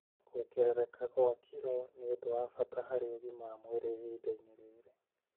Kuongerereka kwa kiro nĩ ũndũ wa bata harĩ ũgima wa mwĩrĩ ihinda-inĩ rĩrĩ.